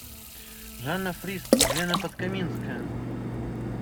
жанна фриске елена подкаминская